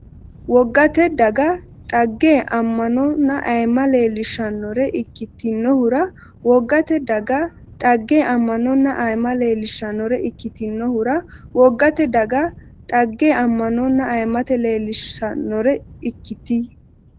Wogate daga dhagge, ammanonna ayimma leellishsannore ikkit- inhura Wogate daga dhagge, ammanonna ayimma leellishsannore ikkit- inhura Wogate daga dhagge, ammanonna ayimma leellishsannore ikkit-.